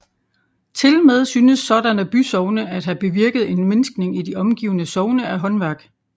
Tilmed synes sådanne bysogne at have bevirket en mindskning i de omgivende sogne af håndværk